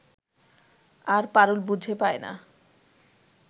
আর পারুল বুঝে পায় না